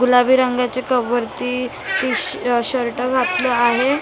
गुलाबी रंगाच्या क वरती अ शर्ट घातला आहे .